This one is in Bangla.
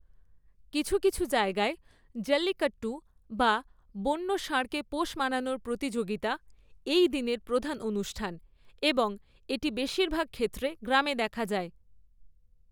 কিছু কিছু জায়গায়, জল্লিকট্টু বা বন্য ষাঁড়কে পোষ মানানোর প্রতিযোগিতা এই দিনের প্রধান অনুষ্ঠান এবং এটি বেশিরভাগ ক্ষেত্রে গ্রামে দেখা যায়।